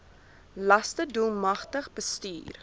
laste doelmatig bestuur